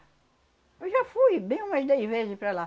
Eu já fui, bem umas dez vezes para lá.